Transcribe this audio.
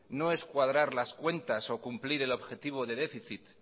no es cuadrar las cuentas o cumplir el objetivo de déficit